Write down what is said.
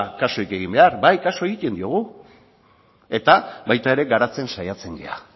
kasurik egin behar bai kasu egiten diogu eta baita ere garatzen saiatzen gara